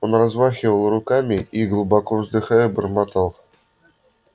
он размахивал руками и глубоко вздыхая бормотал